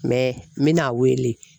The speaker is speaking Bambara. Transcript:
n bɛna'a wele.